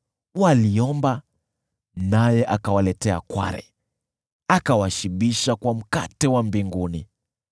Waliomba, naye akawaletea kware, akawashibisha kwa mkate wa mbinguni.